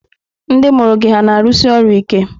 Ndị mụrụ gị hà na-arụsi ọrụ ike?